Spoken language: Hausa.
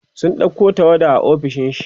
sun ɗauko tawada a ofishin shi